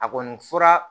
A kɔni fura